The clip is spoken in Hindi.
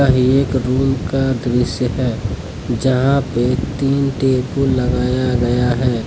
यह एक रूम का दृश्य है जहां पे तीन टेबुल लगाया गया है।